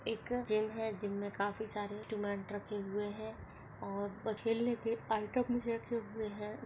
एक जिम है जिम मे काफी सारे इंस्ट्रमेंट रखे हुए है और भी रखे हुए है।